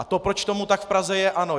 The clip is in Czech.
A to, proč tomu tak v Praze je...